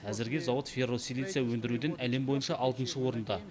әзірге зауыт ферросилиций өндіруден әлем бойынша алтыншы орында